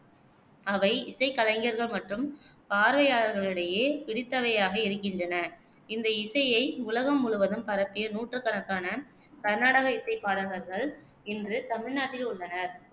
அவை இசைக்கலைஞர்கள் மற்றும் பார்வையாளர்களிடையே பிடித்தவையாக இருக்கின்றன. இந்த இசையை உலகம் முழுவதும் பரப்பிய நூற்றுக்கணக்கான கர்நாடக இசைப் பாடகர்கள் இன்று தமிழ்நாட்டில் உள்ளனர்.